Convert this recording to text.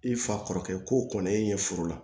I fa kɔrɔkɛ ko kɔni e ye furu la